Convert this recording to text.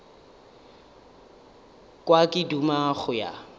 kwa ke duma go ya